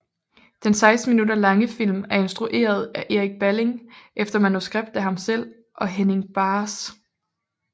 Den 16 minutter lange film er instrueret af Erik Balling efter manuskript af ham selv og Henning Bahs